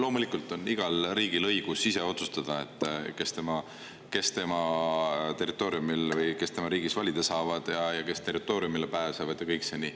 Loomulikult on igal riigil õigus ise otsustada, kes tema territooriumil või tema riigis valida saavad ja kes tema territooriumile pääsevad, kõike seda.